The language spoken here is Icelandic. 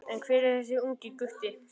En hver er þessi ungi gutti?